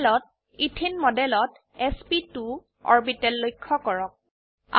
প্যানেলত ইথিন মডেলত এছপি2 অৰবিটেল লক্ষ্য কৰক